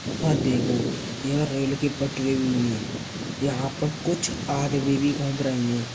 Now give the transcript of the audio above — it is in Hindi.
यहाँ देखो यह रेल की पटरी हुई हैं। यहां पर कुछ आदमी भी घूम रही हैं।